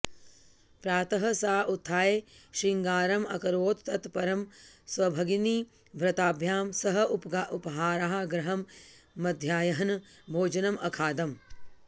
प्रातः सा उत्थाय शृङ्गारम् अकरोत् तत् परं स्वभगिनीभ्रताभ्यां सह उपाहारगृहं मध्याह्नः भोजनम् अखादम्